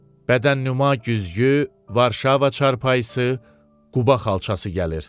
Bədənnüma güzgü, Varşava çarpayısı, Quba xalçası gəlir.